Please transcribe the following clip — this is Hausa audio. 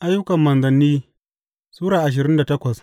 Ayyukan Manzanni Sura ashirin da takwas